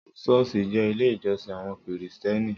Sọ́ọ́sì jẹ́ ilé ìjọsìn àwọn kìrìsìténì.